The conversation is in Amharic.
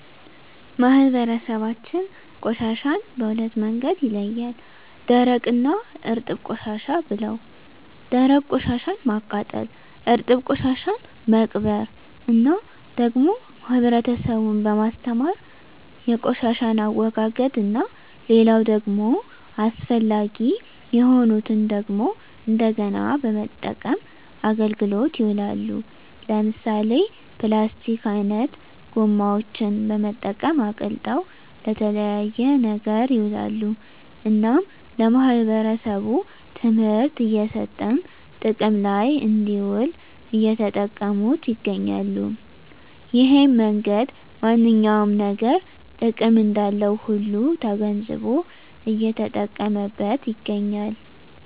ማህበረሰባችን ቆሻሻን በሁለት መንገድ ይለያል ደረቅ እና እርጥብ ቆሻሻ ብለው ደረቅ ቆሻሻን ማቃጠል እርጥብ ቆሻሻን መቅበር እና ደግሞ ህብረተሰቡን በማስተማር የቆሻሻን አወጋገድ እና ሌላው ደግሞ አስፈላጊ የሆኑትን ደግሞ እንደገና በመጠቀም አገልግሎት ይውላሉ ለምሳሌ ፕላስቲክ አይነት ጎማዎችን በመጠቀም አቅልጠው ለተለያየ ነገር ይውላሉ እናም ለማህበረሰቡ ትምህርት እየሰጠን ጥቅም ለይ እንድውል እየተጠቀሙት ይገኛሉ እሄን መንገድ ማንኛውም ነገር ጥቅም እንዳለው ሁሉ ተገንዝቦ እየተጠቀመበት ይገኛል